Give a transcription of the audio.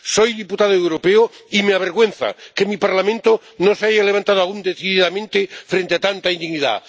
Soy diputado europeo y me avergüenza que mi Parlamento no se haya levantado aún decididamente frente a tanta indignidad.